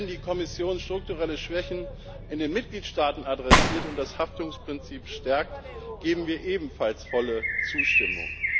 Und wenn die Kommission strukturelle Schwächen in den Mitgliedstaaten adressiert und das Haftungsprinzip stärkt, geben wir ebenfalls volle Zustimmung.